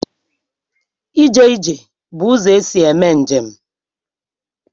Ije ije bụ ụzọ esi eme njem.